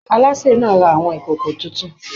Aláṣè náà ra àwọn ìkòkò títún.